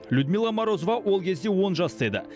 людмила морозова ол кезде он жаста еді